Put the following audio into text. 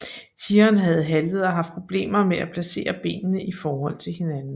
Tigeren havde haltet og haft problemer med at placere benene i forhold til hinanden